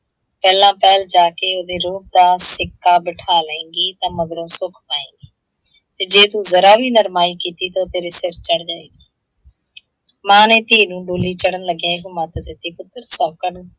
ਪਹਿਲਾਂ ਪਹਿਲ ਜਾਕੇ ਉਹਦੇ ਰੋਹਬ ਦਾ ਸਿੱਕਾ ਬਿੱਠਾ ਲਏਂਗੀ, ਤਾਂ ਮਗਰੋਂ ਸੁੱਖ ਪਾਏਂਗੀ ਤੇ ਜੇ ਤੂੰ ਜ਼ਰਾ ਵੀ ਨਰਮਾਈ ਕੀਤੀ ਤਾਂ ਓਹ ਤੇਰੇ ਸਿਰ ਚੜ੍ਹ ਜਾਏਗੀ। ਮਾਂ ਨੇ ਧੀ ਨੂੰ ਡੋਲੀ ਚੜ੍ਹਣ ਲੱਗਿਆਂ ਇਹੋ ਮੱਤ ਦਿੱਤੀ, ਪੁੱਤਰ ਸੌਂਕਣ